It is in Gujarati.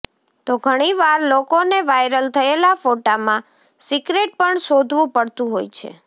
તો ઘણી વાર લોકોને વાયરલ થયેલા ફોટામાં સિક્રેટ પણ શોધવું પડતું હોય છે